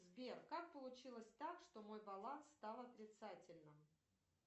сбер как получилось так что мой баланс стал отрицательным